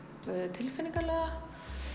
tilfinningalega